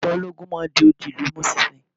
Ìjọba ológun máa n di odi ìlú mu sinsin